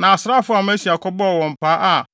Na asraafo a Amasia kɔbɔɔ wɔn paa a